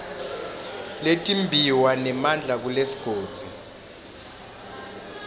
letimbiwa nemandla kulesigodzi